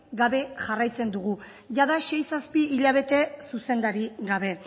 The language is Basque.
gabe jarraitzen dugu jada sei zazpi hilabete zuzendaririk gabe